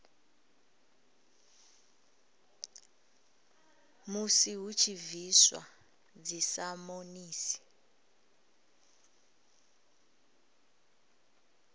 musi hu tshi bviswa dzisamonisi